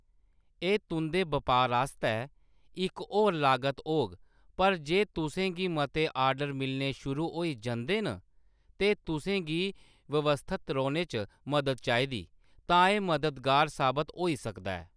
एह्‌‌ तुंʼदे बपार आस्तै इक होर लागत होग पर जे तुसें गी मते ऑर्डर मिलने शुरू होई जंदे न ते तुसें गी व्यवस्थत रौह्‌‌‌ने च मदद चाहिदी, तां एह्‌‌ मददगार साबत होई सकदा ऐ।